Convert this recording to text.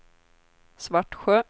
Svartsjö